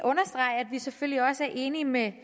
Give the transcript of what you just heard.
vi selvfølgelig også er enig med